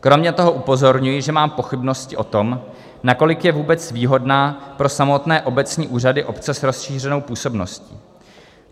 Kromě toho upozorňuji, že mám pochybnosti o tom, nakolik je vůbec výhodná pro samotné obecní úřady, obce s rozšířenou působností.